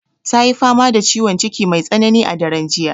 Ta yi fama da ciwon ciki mai tsanani a daren jiya.